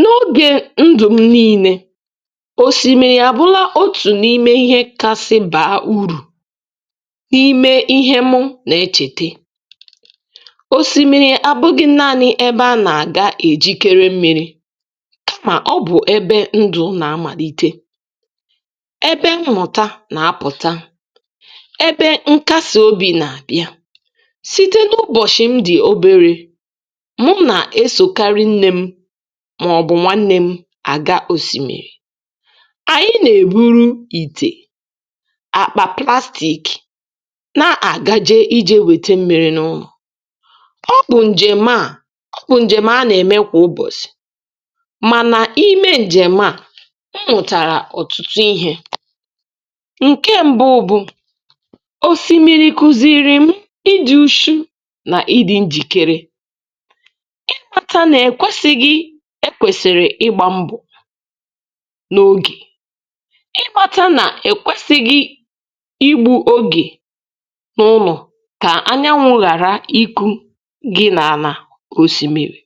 N'oge ndụ m niile, osimiri abụla otu n'ime ihe kasị baa úrù n'ime ihe mụ na - echete. Osimiri abụghị naanị ebe a na-aga ejikere mmiri kama ọ bụ ebe ndụ̀ nà-amàlite, wbe mmụta na-apụta, ebe nkasiobi na-abịa. Site n'ụbọchị m dị obere, mụ na-esokarị nne m maọbụ nwanne m aga osimiri. Anyị na-eburu ite, akpa plastic na-agaje ije wete mmiri n'ụlọ. Ọ bụ njem a ọ bụ njem a na-eme kwa ụbọchị mana ime njem a, m mụtara ọtụtụ ihe. Nke mbụ bụ osìmiri kuziiri m ịdị úchú na ịdị njikere nke kpatara na ekwesịghị e kwesịrị ịgba mbọ n'oge. Ị kpata na ekwesịghị igbu oge n'ụlọ ka anyanwụ ghara ịkụ gị n'ala osimiri.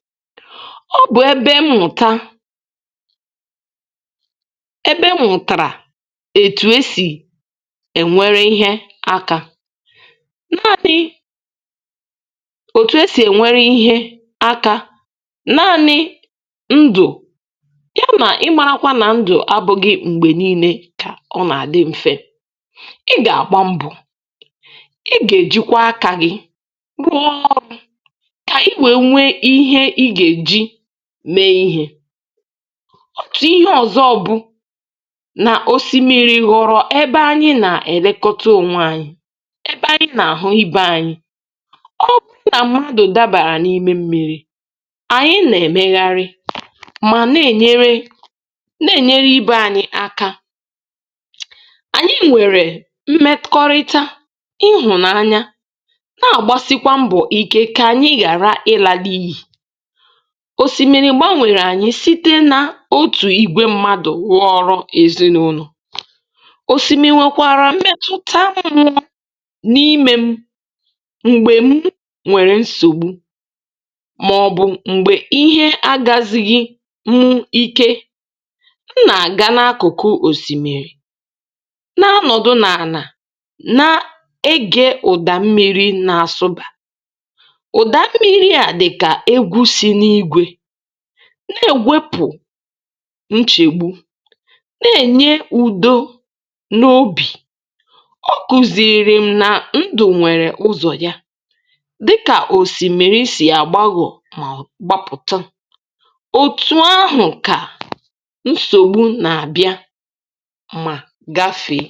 Ọ bụ ebe mmụta ebe m mụtara etu e si enwere ihe aka. etu e si enwere ihe aka naanị ndụ kama ị marakwa na ndụ abụghị mgbe niile ka ọ na-adị mfe. Ị ga-agba mbọ. Ị ga-ejikwa aka gị rụọ ọrụ ka i wee nwee ihe ị ga-eji mee ihe. Otu ihe ọzọ bụ na osimiri ghọrọ ebe anyị na-elekọta onwe anyị, ebe anyị na-ahụ ibe anyị. Ọ bụrụ na mmadụ dabara n'ime mmiri, anyị na-emegharị ma na-enyere na-enyere ibe anyị aka. Anyị nwere mmekọrịta, ịhụnanya, na-agbasikwa mbọ ike ka anyị ghara ịla n'iyi. Osimiri gbanwere anyị site na otu igwe mmadụ rụọ ọrụ ezinụlọ. Osimiri nwekwara mmetụta mmụọ n'ime m mgbe m nwere nsogbu maọbụ mgbe ihe agazighi mụ ike. M na-agga n'akụkụ osimiri na-anọdụ n'ana na-ege ụda mmiri na-asụba. Ụda mmiri a dị ka egwú si n'ígwe na-ewepụ nchegbu, na-enye údó n'obi. Ọ kụziiri m na ndụ nwere ụzọ ya dịka osimiri si agbaghọ̀ ma gbapụtụ. Otu ahụ ka nsogbu na-abịa ma gafee.